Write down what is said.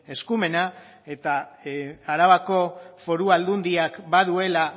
eskumena eta arabako foru aldundiak baduela